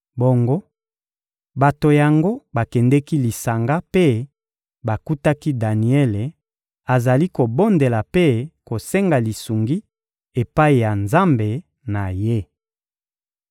Bongo, bato yango bakendeki lisanga mpe bakutaki Daniele azali kobondela mpe kosenga lisungi epai ya Nzambe na ye.